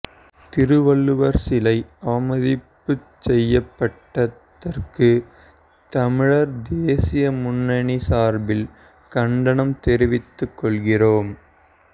திருவள்ளுவா் சிலை அவமதிப்பு செய்யப்பட்டதற்குத் தமிழா் தேசிய முன்னணி சாா்பில் கண்டனம் தெரிவித்துக் கொள்கிறோம்